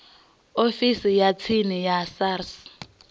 ofisini ya tsini ya sars